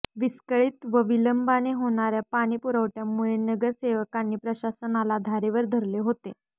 विस्कळीत व विलंबाने होणाऱया पाणी पुरवठय़ामुळे नगरसेवकांनी प्रशासनाला धारेवर धरले होते